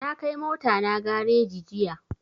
Na kai mota na gareji jiya